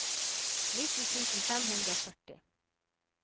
nitten tusen fem hundre og førti